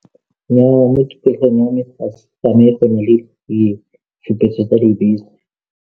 Nnyaya, mo tikologong ya me tsamaye ga go isi go tsamae go nne le ditshupetso tsa dibese.